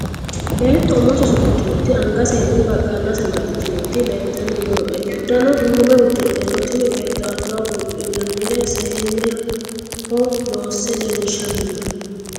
Beetto umose usudhitinoti angasenni baqaallase amaxxitinoti leeltanni noo"e. Uddano duume udidhe no. Tini beetto albaho buudhinannire seenneho loosse leellishshanni noo.